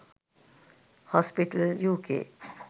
hospital uk